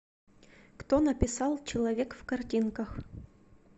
кто написал человек в картинках